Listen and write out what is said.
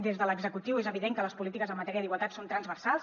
des de l’executiu és evident que les polítiques en matèria d’igualtat són transversals